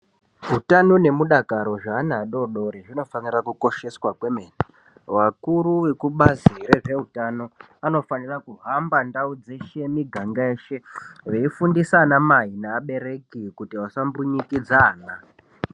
Utano nemudakaro zveana adodori zvinofanira kukosheswa kwemene. Vakuru vebazi reutano vanofanira kuhamba ndau dzeshe nemuganga mweshe veifundisa ana mai nevabereki kuti vasambunyikidza ana.